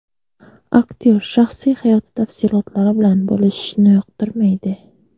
Aktyor shaxsiy hayoti tafsilotlari bilan bo‘lishishni yoqtirmaydi.